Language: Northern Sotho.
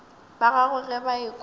ba gagwe ge ba ekwa